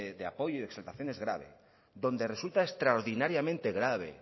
de apoyo y exaltación es grave donde resulta extraordinariamente grave